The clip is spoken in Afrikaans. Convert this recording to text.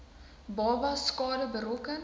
babas skade berokken